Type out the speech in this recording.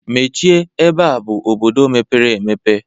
Mechie ebe a bụ obodo mepere emepe